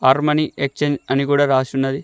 Armani Exchange అని కూడా రాసున్నది.